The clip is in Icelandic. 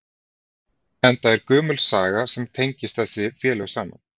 Enda er gömul saga sem tengist þessi félög saman?